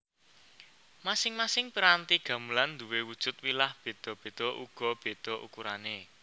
Masing masing piranti gamelan nduwe wujud wilah beda beda uga beda ukurane